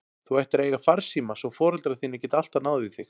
Þú ættir að eiga farsíma svo foreldrar þínir geti alltaf náð í þig.